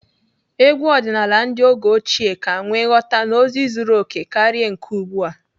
Egwu ọdịnaala ndị oge ochie ka nwee nghọta na ozi zuru okè karịa nke ugbu a.